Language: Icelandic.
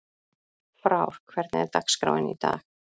Frár, hvernig er dagskráin í dag?